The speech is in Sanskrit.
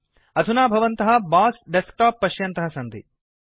अधुना भवन्तः बॉस डेस्कटॉप पश्यन्तः सन्ति